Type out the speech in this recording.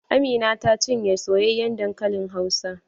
Amina ta cinye soyayen dankalin hausa.